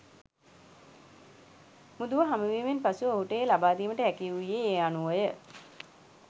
මුදුව හමුවීමෙන් පසුව ඔහුට එය ලබාදීමට හැකි වූයේ ඒ අනුවය.